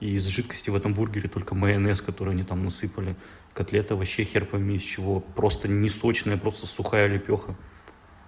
и из жидкости в этом бургере только майонез который они там насыпали котлет овощей хер пойми из чего просто не сочная просто сухая лепёха